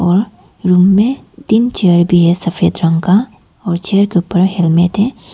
और रूम में तीन चेयर भी है सफेद रंग का और चेयर के ऊपर हेलमेट है।